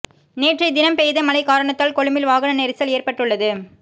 நேற்றைய தினம் பெய்த மழை காரணத்தால் கொழும்பில் வாகன நெரிசல் ஏற்பட்டுள்ளது